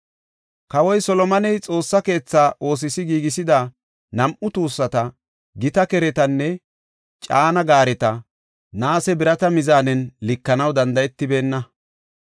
Kawoy Solomoney Xoossa keetha oosos giigisida nam7u tuussata, gita keretanne caana gaareta, naase birata mizaanen likanaw danda7etibeenna.